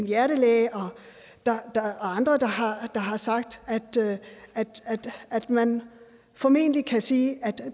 hjertelæge og andre der har sagt at man formentlig kan sige at